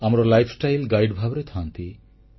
ଆମର lifestyle guide ଭାବରେ ଥାଆନ୍ତି